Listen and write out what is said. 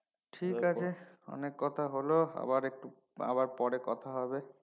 ঠিক আছে অনেক কথা হলো আবার একটু আবার পরে কথা হবে